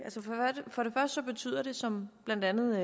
for det første betyder det som blandt andet